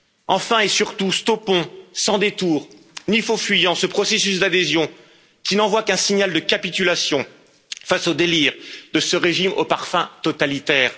Enfin et surtout, stoppons, sans détour ni faux fuyant, ce processus d'adhésion qui n'envoie qu'un signal de capitulation face aux délires de ce régime au parfum totalitaire.